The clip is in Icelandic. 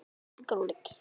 á þessum vetri.